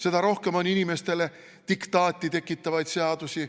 Seda rohkem on inimestele diktaati tekitavaid seadusi.